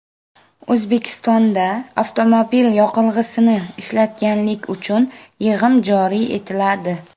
O‘zbekistonda avtomobil yoqilg‘isini ishlatganlik uchun yig‘im joriy etiladi.